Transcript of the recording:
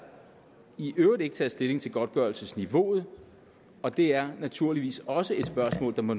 i øvrigt ikke taget stilling til godtgørelsesniveauet og det er naturligvis også et spørgsmål der må